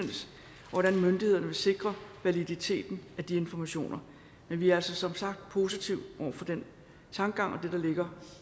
hvordan myndighederne vil sikre validiteten af de informationer men vi er altså som sagt positive over for den tankegang og det der ligger